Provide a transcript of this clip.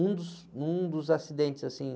Um dos, um dos acidentes, assim,